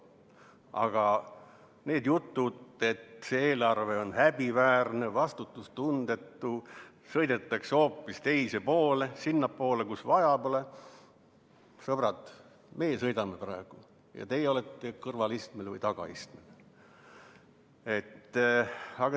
Aga need jutud, et see eelarve on häbiväärne, vastutustundetu, sõidetakse hoopis teisele poole, sinnapoole, kuhu vaja pole – sõbrad, praegu juhime meie ja teie olete kõrvalistmel või tagaistmel.